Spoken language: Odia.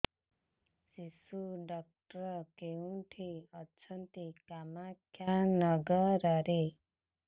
ଶିଶୁ ଡକ୍ଟର କୋଉଠି ଅଛନ୍ତି କାମାକ୍ଷାନଗରରେ